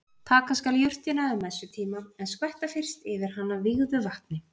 Taka skal jurtina um messutíma en skvetta fyrst yfir hana vígðu vatni.